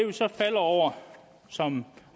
vi så falder over og som